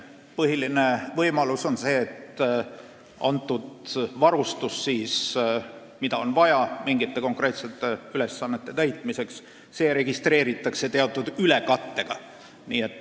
Põhiline võimalus on, et see varustus, mida on vaja mingite konkreetsete ülesannete täitmiseks, registreeritakse teatud ülekattega.